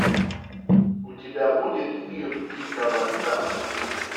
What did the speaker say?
у тебя будет мир дикого запада